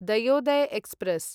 Dayodaya express